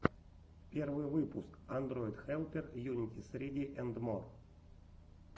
первый выпуск андройдхэлпер юнитиссриди энд мор